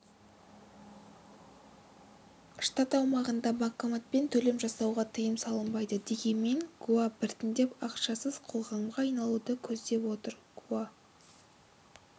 штат аумағында банкоматпен төлем жасауға тыйым салынбайды дегенмен гоа біртіндеп ақшасыз қоғамға айналуды көздеп отыр гоа